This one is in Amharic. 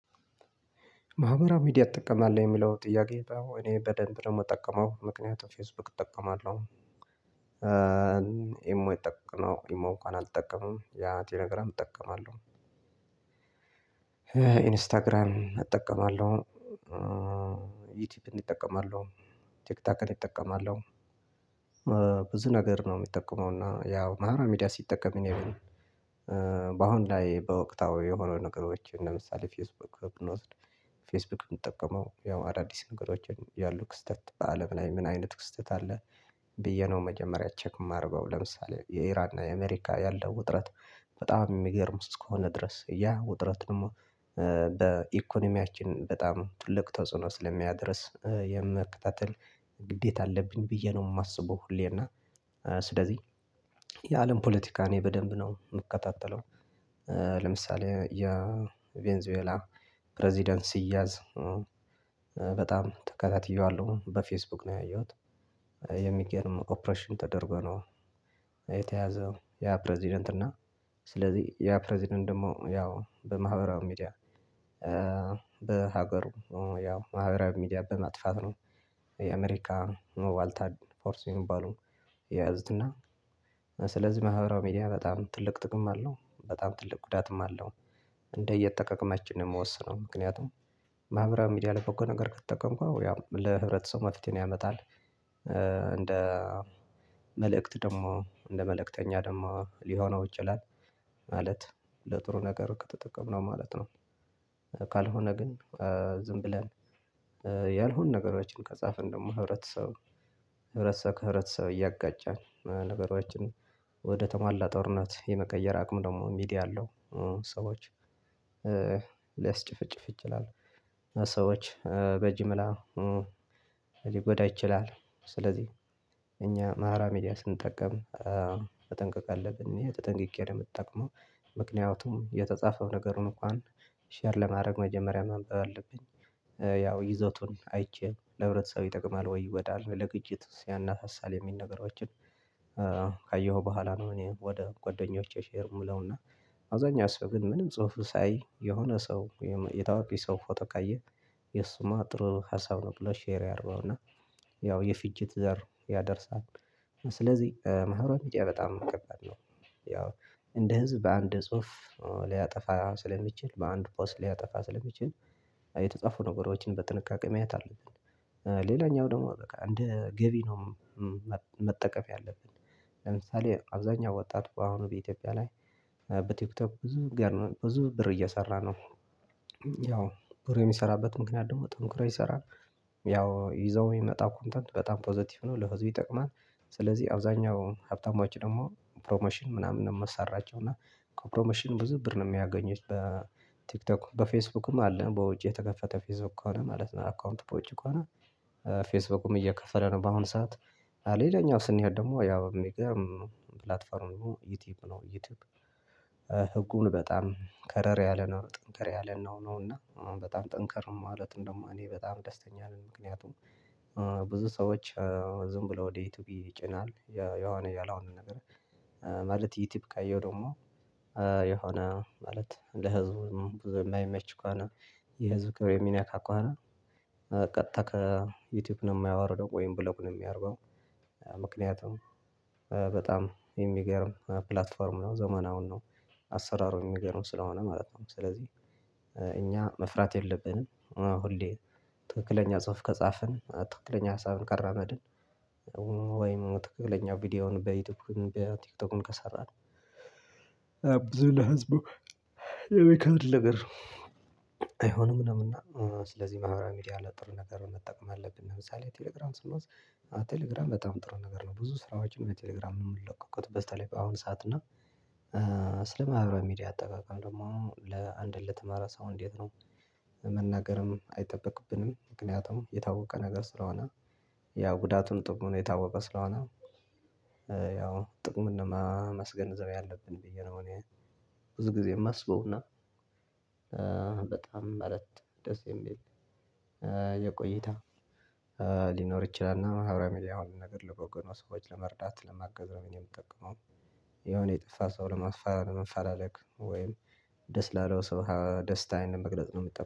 ማህበራዊ ሚዲያ እጠቀማለሁ የሚለው ጥያቄ እኔ በደንብ ደግሞ እምጠቀመው ምክንያቱም ፌስቡክ እጠቀማለሁ። ኢሞ የጠቀመው ኢሞ እነኳ አልጠቀመውም ያ ቴሌግራም እጠቀማለሁ። ኢንስታግራም እጠቀማለሁ። ዩቲዩብ እጠቀመለው ቲክቶክን እጠቀማለሁ። ብዙ ነገር ነው የምጠቀመው። እና ያው ማህበራ ሚዲያ ሲጠቀም እኔ። በአሁን ላይ በወቅታዊ የሆነው ነገሮች ለምሳሌ ፌስቡክ ብንወስድ ፌስቡክ የምጠቀመው ያው አዳዲስ ነገሮችን ያሉ ክስተት አለም ላይ ምን አይነት ክስተት አለ? ብዬ ነው መጀመሪያ ቼክ የማርገው ለምሳሌ የኢራን እና የአሜሪካ ያለው ውጥረት። በጣም የሚገርም እስከሆነ ድረስ ያ ውጥረት ደግሞ በኢኮኖሚያችን በጣም ትልቅ ተጽኖ ስለሚያደርስ የመከታተል ግዴታ አለብኝ ብዬ ነው የማስበው። ሁሌ እና ስለዚህ የአለም ፖለቲካ እኔ በደንብ ነው የምከታተለው። ለምሳሌ የቬንዙዌላ ፕሬዝዳንት ሲያዝ በጣም ተከታትየዋለሁ በፌስቡክ ነው ያየሁት። የሚገርም ኦፕሬሽን ተደርጎ ነው የተያዘው። ያ ፕሬዝዳንት እና ስለዚህ ያ ፕሬዝዳንት ደግሞ ያው በማህበራዊ ሚዲያ በሀገሩ ያው ማህበራዊ ሚዲያ በማጥፋት ነው። የአሜሪካ ዋልታድ ፎርስ የሚባሉ የያዙትና እና ስለዚህ ማህበራዊ ሚዲያ በጣም ትልቅ ጥቅም አለው በጣም ትልቅ ጉዳትም አለው። እንደ እየተጠቃቀማችን ነው የምወስነው። ምክንያቱም ማህበራዊ ሚዲያ ላይ በጎ ነገር ከተጠቀምኩ ያው ለህብረተሰቡ መፍትሄን ያመጣል። እንደ መልእክት ደግሞ እንደ መልእክተኛ ደግሞ ሊሆነው ይችላል። ማለት ለጥሩ ነገር ከተጠቀምነው ማለት ነው። ካልሆነ ግን ዝም ብለን ያልሆኑ ነገሮችን ከጻፈን ደግሞ ህብረተሰብ ከህብረተሰብ እያጋጫን ነገሮችን ወደ ተሟላ ጦርነት የመቀየር አቅሙ ደግሞ ሚዲያ አለው። ሰዎች ሊያስጭፍጭፍ ይችላል። ሰዎች በጅምላ ሊጎዳ ይችላል። ስለዚህ እኛ ማህበራዊ ሚዲያ ስንጠቀም መጠንቀቅ አለብን ይሄ ተጠንቅቄ ነው የምትጠቅመው። ምክንያቱም የተጻፈው ነገር እንኳን ሼር ለማድረግ መጀመሪያ ማንበብ አለብኝ። ያው ይዘቱን አይቼ ለህብረተሰብ ይጠቅማል ወይ ይጎዳል ለግጭት ሲያናሳሳል የሚል ነገሮችን። ካየሁ በኋላ ነው እኔ ወደ ጎደኞቼ ሼር ምለውና። አውብዛኛ ሰው ግን ምንም ጽሁፍ ሳያይ የሆነ ሰው የታዋቂ ሰው ፎቶ ካየ የሱማ ጥሩ ሀሳብ ነው ብሎ ሼር ያረገውና ያው የፍጅት ዘር ያደርሳል። ስለዚህ ማህበራዊ ሚድያ በጣም ከባድ ነው። ያው እንደ ህዝብ በአንድ ጽሁፍ ሊያጠፋ ስለሚችል በአንድ ፖስት ሊያጠፋ ስለሚችል የተጠጻፉ ነገሮችን በጥንቃቄ ማየት አለብን። ሌላኛው ደግሞ በቃ እንደ ገቢ ነው። መጠቀም ያለብን ለምሳሌ አብዛኛው ወጣት አሁን በኢትዮጵያ ላይ በቲክቶክ ብዙ ገንዘብ ብዙ ብር እየሰራ ነው። ያው ብሩ የሚሰራበት ምክንያት ደግሞ ጠንክሮ ይሰራል። ያው ይዘው የሚመጣው ኮንተንት በጣም ፖዘቲቭ ነው ለህዝቡ ይጠቅማል። ስለዚህ አብዛኛው ሀብታሞች ደግሞ ፕሮሞሽን ምናምን ነው የማሰራቸው እና ከፕሮሞሽን ብዙ ብር ነው የሚያገኘቱ በቲክቶክ በፌስቡክም አለ በውጭ የተከፈተ ፌስቡክ ከሆነ ማለት ነው አካውንት በውጭ ከሆነ። ፌስቡክም እየከፈለ ነው በአሁን ሰዓት። ሌላኛው ስንሄድ ደግሞ ያው የሚገርም ፕላትፎርሙ ዩቲዩብ ነው። ህጉን በጣም ከረር ያለ ነው ጠንከር ያለ ነው ነው እና አሁን በጣም ጠንከር ማለት እንደውም እኔ በጣም ደስተኛ ነኝ። ምክንያቱም ብዙ ሰዎች ዝም ብለው ወደ ይቱዩብ ይጭናል የሆነ ያልሆነ ነገር። ማለት ዩቲዩብ ካየሁ ደግሞ የሆነ ማለት ለህዝቡ ብዙ የማይመች ከሆነ። የህዝቡ ክብር የሚነካ ከሆነ። ቀጥታ ከዩቲዩብ ነው የሚያወርደው ወይም ብሎክ ነዊ የሚያርገው። ምክንያቱም በጣም የሚገርም ፕላትፎርም ነው ዘመናዊ ነው። አሰራሩን የሚገርም ስለሆነ ማለት ነው ስለዚህ እኛ መፍራት የለብንም። ሁሌ ትክክለኛ ጽሁፍ ከጻፍን ትክክለኛ ሀሳብን ካራመድን። ወይም ትክክለኛ ቪዲዮውን በዩቲዩብ በቲክቶክም ከሰራን። አብዙ ለህዝቡ የሚከብድ ነገር አይሆንም። ነውና ስለዚህ ማህበራዊ ሚዲያ ላይ ጥሩ ነገር መጠቀም አለብን። ለምሳሌ ቴሌግራም ስንወስድ ቴሌግራም በጣም ጥሩ ነገር ነው። ብዙ ስራዎችን በቴሌግራም የምንለቀቅበት በስተለይ በአሁን ሰዓት እና ስለ ማህበራዊ ሚዲያ አጠቃቀም ደግሞ ለአንድ ለተማራ ሰው እንዴት ነው? መናገርም አይጠበቅብንም ምክንያቱም የታወቀ ነገር ስለሆነ። ያ ጉዳቱሙ ጥቅሙም የታወቀ ስለሆነ። ያው ጥቅም ነው ማመስገዘብ ያአለብን ብዬ ነው እኔ ብዙ ጊዜ የማስበውና። በጣም መረጥ ደስ የሚል የቆይታ ሊኖር ይችላል እና ማህበራዊ ሚድያ ነገር ልበጎ ነው ሰዎች ለመርዳት ለማገዝ ነው እኔ የምትጠቀመው። የሆነ የጠፋ ሰው ለማስፈራመን ለማፈላለግ ወይም ደስ ላለው ሰው ደስታዬን መግለጽ ነው። የምጠ